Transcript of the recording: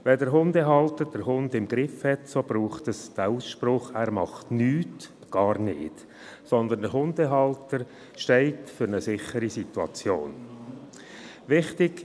Wenn der Hundehalter den Hund «im Griff» hat, braucht es diesen Ausspruch, «Er macht nichts.», gar nicht, weil der Hundehalter für eine sichere Situation steht.